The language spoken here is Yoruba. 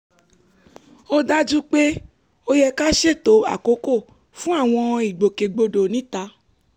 ó dájú pé ó yẹ ká ṣètò àkókò fún àwọn ìgbòkègbodò níta